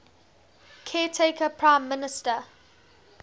caretaker prime minister